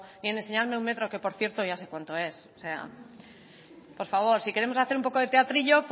ni en enseñarme un metro que por cierto ya sé cuánto es por favor si queremos hacer un poco teatrillo